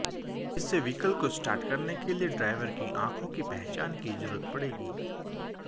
इसमें वीइकल को स्टार्ट करने के लिए ड्राइवर की आंखों की पहचान की जरूरत पड़ेगी